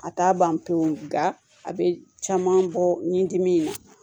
A t'a ban pewu nka a bɛ caman bɔ ɲin'a na